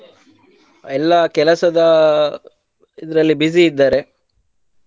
ಎಲ್ಲಾ ಕೆಲಸದ ಇದ್ರಲ್ಲಿ busy ಇದ್ದಾರೆ.